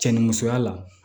Cɛ ni musoya la